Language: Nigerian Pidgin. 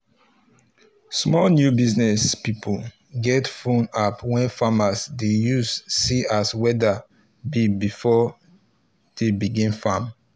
small new business pipo get phone app wey farmers dey use see as weather be before dey begin farm